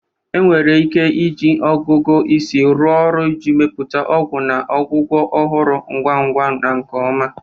Enwere ike iji ọgụgụ isi rụọ ọrụ iji mepụta ọgwụ na ọgwụgwọ ọhụrụ ngwa ngwa na nke ọma.